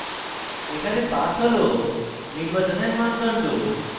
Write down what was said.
এখানে pass হল নির্বাচনের মানদণ্ড